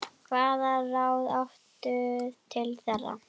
Hvaða ráð áttu til þeirra?